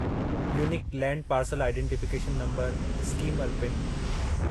unique land parcel identification number scheme alpine